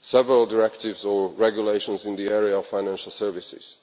several directives or regulations in the area of financial services.